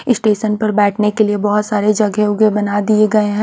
Station पर बेठने के लिए बहोत सारे जगह वघ बना दिए है।